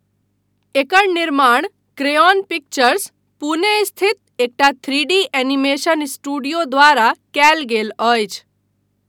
एकर निर्माण Crayon Pictures, Pune स्थित एकटा थ्रीडी एनीमेशन स्टूडियो द्वारा कयल गेल अछि।